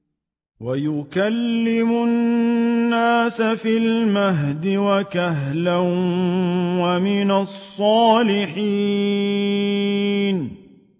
وَيُكَلِّمُ النَّاسَ فِي الْمَهْدِ وَكَهْلًا وَمِنَ الصَّالِحِينَ